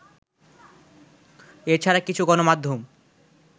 এ ছাড়া কিছু গণমাধ্যম